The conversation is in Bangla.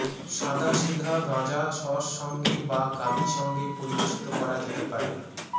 সাদাসিধা গাঁজা সস সঙ্গে বা গাভী সঙ্গে পরিবেশিত করা যেতে পারে